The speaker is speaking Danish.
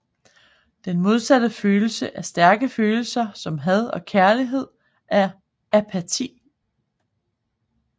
Den modsatte følelse af stærke følelser som had og kærlighed er apati